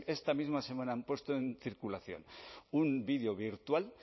esta misma semana han puesto en circulación un vídeo virtual